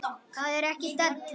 Það er ekki della.